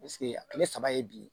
a tile saba ye bi